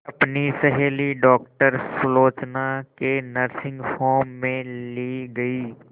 अपनी सहेली डॉक्टर सुलोचना के नर्सिंग होम में ली गई